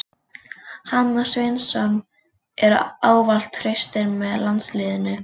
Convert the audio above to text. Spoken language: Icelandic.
Hann og Svensson eru ávallt traustir með landsliðinu.